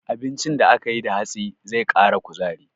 Abincin da aka yi da hatsi zai ƙara kuzari.